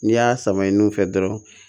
N'i y'a sama nun fɛ dɔrɔn